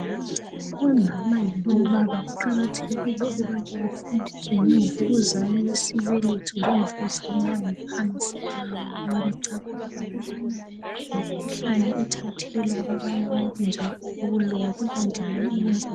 omama labo baba kuqakathekile ukubana bafundiswe ngemvukuzane yesibeletho lemvukuzane yangaphansi ngoba becabanga ukubana yimkhuhlane ethathelwa kwabanye abantu njalo ukuloya kukanti